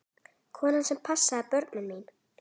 Konan sem passaði börnin mín.